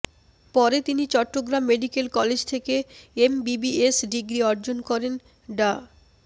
পরে তিনি Chittagong medical college থেকে এমবিবিএস ডিগ্রি অর্জন করেন ডা